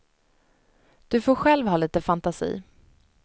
Du får själv ha lite fantasi.